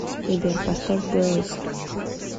сбер поставь брэйв